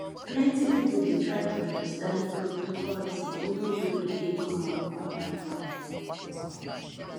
plenty people dey try to understand cryptocurrency even though e dey common for online buying